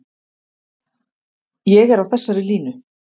Ég er á þessari línu.